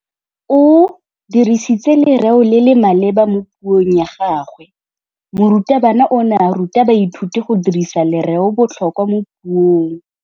O dirisitse lerêo le le maleba mo puông ya gagwe. Morutabana o ne a ruta baithuti go dirisa lêrêôbotlhôkwa mo puong.